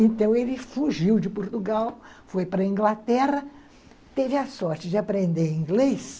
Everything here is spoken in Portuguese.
Então ele fugiu de Portugal, foi para a Inglaterra, teve a sorte de aprender inglês.